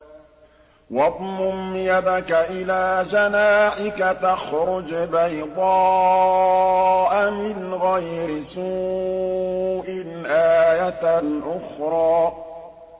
وَاضْمُمْ يَدَكَ إِلَىٰ جَنَاحِكَ تَخْرُجْ بَيْضَاءَ مِنْ غَيْرِ سُوءٍ آيَةً أُخْرَىٰ